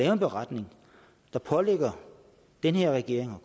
en beretning der pålægger den her regering og